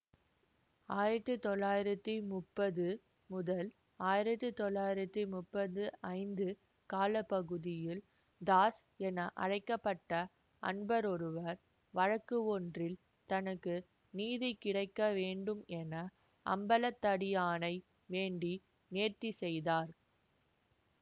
ஆயிரத்தி தொள்ளாயிரத்தி முப்பது முதல் ஆயிரத்தி தொள்ளாயிரத்தி முப்பது ஐந்து கால பகுதியில் தாஸ் என அழைக்க பட்ட அன்பரொருவர் வழக்கு ஒன்றில் தனக்கு நீதி கிடைக்க வேண்டும் என அம்பலத்தடியானை வேண்டி நேர்த்தி செய்தார்